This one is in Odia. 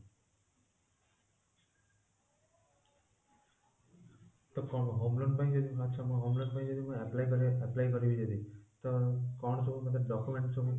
ତ କଣ homeloan ପାଇଁ ଯଦି ଆଚ୍ଛା ମୁଁ homeloan ପାଇଁ apply କରିବି ଯଦି ତ କଣ ସବୁ ତ ମତେ document ସବୁ